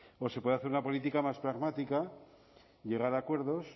o se puede hacer una política más pragmática llegar a acuerdos